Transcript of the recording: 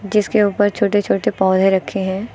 जिसके ऊपर छोटे छोटे पौधे रखे हैं।